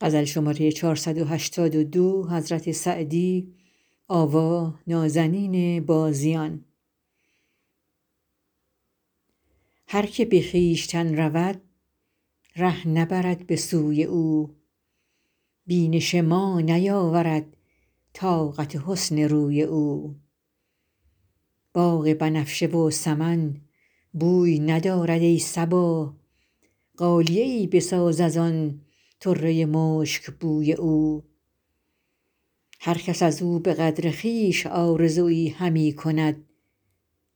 هر که به خویشتن رود ره نبرد به سوی او بینش ما نیاورد طاقت حسن روی او باغ بنفشه و سمن بوی ندارد ای صبا غالیه ای بساز از آن طره مشکبوی او هر کس از او به قدر خویش آرزویی همی کنند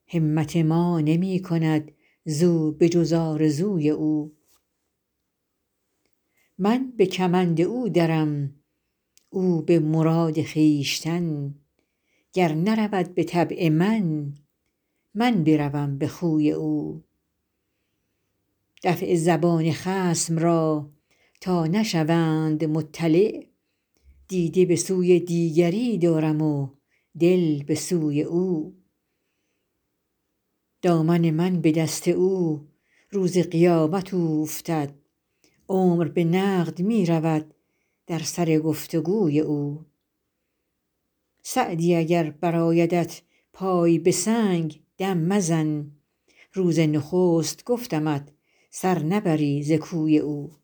همت ما نمی کند زو به جز آرزوی او من به کمند او درم او به مراد خویشتن گر نرود به طبع من من بروم به خوی او دفع زبان خصم را تا نشوند مطلع دیده به سوی دیگری دارم و دل به سوی او دامن من به دست او روز قیامت اوفتد عمر به نقد می رود در سر گفت و گوی او سعدی اگر برآیدت پای به سنگ دم مزن روز نخست گفتمت سر نبری ز کوی او